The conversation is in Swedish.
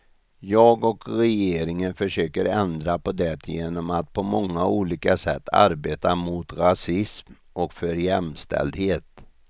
Jag och regeringen försöker ändra på det genom att på många olika sätt arbeta mot rasism och för jämställdhet.